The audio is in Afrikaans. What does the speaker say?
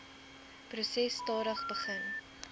proses stadig begin